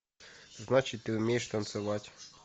значит ты умеешь танцевать